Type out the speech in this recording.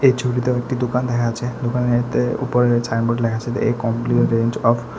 এই ছবিতে একটি দুকান দেখা যাচ্ছে দোকানেতে উপরে ছাইনবোর্ড লেখা আছে এ কমপ্লিট রেঞ্জ অফ --